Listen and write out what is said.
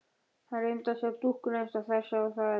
Hann reyndi að sjá dúkkuna eins og þeir sáu þær.